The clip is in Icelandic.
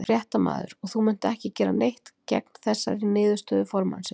Fréttamaður: Og þú munt ekki gera neitt gegn þessari niðurstöðu formannsins?